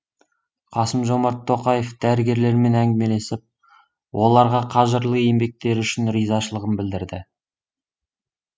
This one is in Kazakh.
қасым жомарт тоқаев дәрігерлермен әңгімелесіп оларға қажырлы еңбектері үшін ризашылығын білдірді